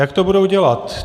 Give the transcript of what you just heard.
Jak to budou dělat?